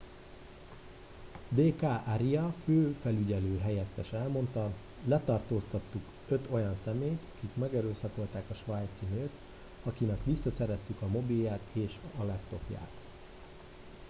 d k arya főfelügyelő helyettes elmondta letartóztattunk öt olyan személyt akik megerőszakolták a svájci nőt akinek visszaszereztük a mobilját és a laptopját